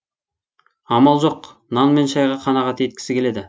амал жоқ нан мен шайға қанағат еткісі келеді